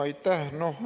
Aitäh!